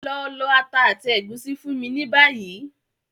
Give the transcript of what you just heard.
Lọ lọ ata àti ègúsí fún mi ni bayi!